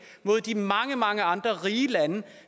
mod de mange mange andre rige lande